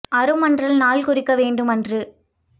அரும்மன்றல் நாள்குறிக்க வேண்டும் அன்று